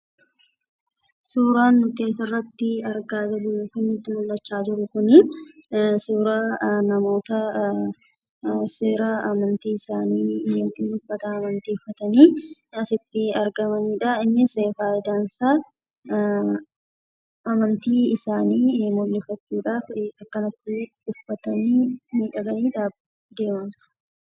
Suuraan nuti asirratti argaa jirru suuraa namoota amantii isaanii yookiin uffata amantii uffatanii asitti argamanidha. Innis faayidaan isaa amantii isaanii mul'ifachuudhaaf akkanatti uffatanii miidhaganii mul'achuuf jiru.